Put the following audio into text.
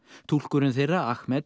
túlkurinn þeirra